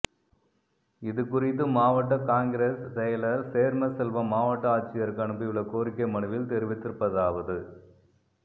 இதுகுறித்து மாவட்ட காங்கிரஸ் செயலர் சேர்மசெல்வம் மாவட்ட ஆட்சியருக்கு அனுப்பியுள்ள கோரிக்கை மனுவில் தெரிவித்திருப்பதாவது